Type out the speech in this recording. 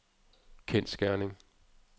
kendsgerning